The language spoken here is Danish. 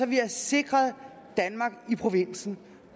vi har sikret provinsen